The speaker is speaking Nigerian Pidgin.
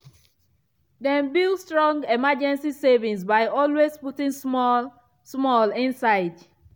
dem build strong emergency savings by always putting small-small inside.